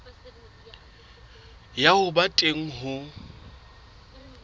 ya ho ba teng ho